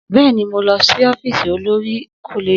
Bẹ́ẹ̀ni, mo lọ sí ọ́fíìsì olòrì koleji